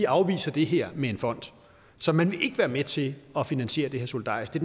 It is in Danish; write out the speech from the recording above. afviser det her med en fond så man vil ikke være med til at finansiere det her solidarisk det